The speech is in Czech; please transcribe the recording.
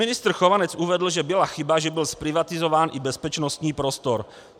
Ministr Chovanec uvedl, že byla chyba, že byl zprivatizován i bezpečnostní prostor.